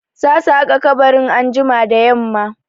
Za su haƙa kabarin anjima da yamma.